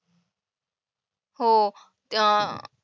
हो